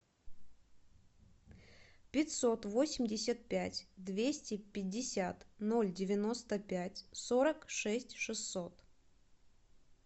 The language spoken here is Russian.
пятьсот восемьдесят пять двести пятьдесят ноль девяносто пять сорок шесть шестьсот